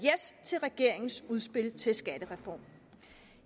til regeringens udspil til skattereform